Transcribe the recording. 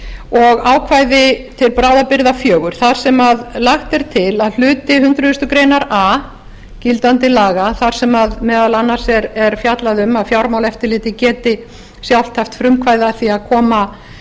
og ákvæði til bráðabirgða fjögur þar sem lagt er til að hluti hundrað greinar a gildandi laga þar sem meðal annars er fjallað um að fjármálaeftirlitið geti sjálft haft frumkvæði að því að koma